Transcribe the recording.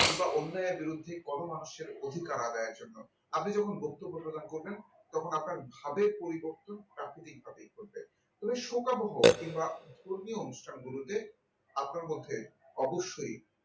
কিংবা অন্য এক বিরুদ্ধে পরমানুষের অধিকার আদায়ের জন্য আপনি যখন বক্তব্য প্রদান করবেন তখন আপনার ভাবের পরিবর্তন প্রাকৃতিক ভাবেই ঘটবে তবে শোকাবহ কিংবা ধর্মীয় অনুষ্ঠানগুলোতে আপনার মধ্যে অবশ্যই